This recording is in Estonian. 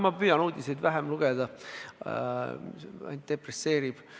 Ma püüan uudiseid vähem lugeda, see ainult depresseerib.